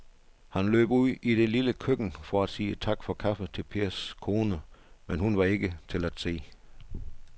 Han løb ud i det lille køkken for at sige tak for kaffe til Pers kone, men hun var ikke til at se.